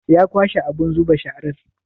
Ya kwashe abun zuba sharar?